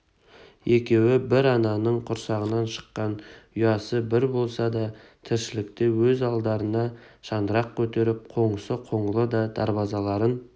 екеуі бір ананың құрсағынан шыққан ұясы бір болса да тіршілікте өз алдарына шаңырақ көтеріп қоңсы қоңлы да дарбазаларын